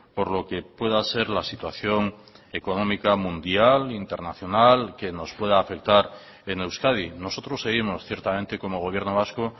por lo que pueda ser la situación económica mundial internacional que nos pueda afectar en euskadi nosotros seguimos ciertamente como gobierno vasco